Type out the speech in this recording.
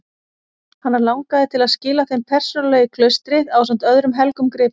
Hana langaði til að skila þeim persónulega í klaustrið ásamt öðrum helgum gripum.